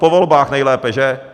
Po volbách nejlépe, že?